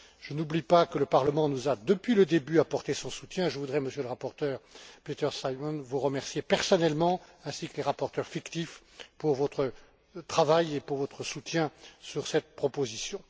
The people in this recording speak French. Je n'oublie pas que le Parlement nous a, depuis le début, apporté son soutien et je voudrais, Monsieur le rapporteur, Peter Simon, vous remercier personnellement, ainsi que les rapporteurs fictifs, pour votre travail et votre soutien sur cette proposition.